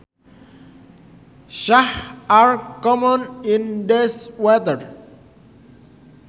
Sharks are common in these waters